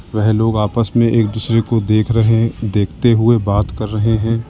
वेह लोग आपस में एक दूसरे को देख रहें देखते हुए बात कर रहे हैं।